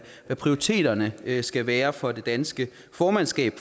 hvad prioriteterne skal være for det danske formandskab